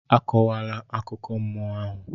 Akọkwala akụkọ mmụọ ahụ!